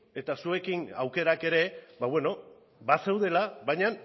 eta zuekin aukerak ere bazeudela baina